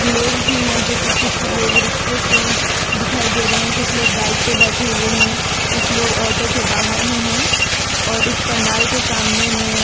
लोग भी हैं जो कि कुछ लोग रिक्शे से दिखाई दे रहे हैं कुछ लोग बाइक पे बैठे हुए हैं कुछ लोग ऑटो के बाहर में हैं और इस पंडाल के सामने में--